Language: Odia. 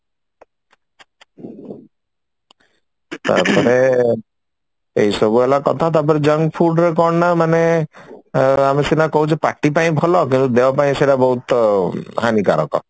ତାପରେ ଏଇ ସବୁ ହେଲା କଥା ତାପରେ junk food ରେ କଣ ନା ମାନେ ଆମେ ସିନା କହୁଛେ ପାଟି ପାଇଁ ଭଲ କିନ୍ତୁ ଦେହ ପାଇଁ ସେଇଟା ବହୁତ ହାନିକରକ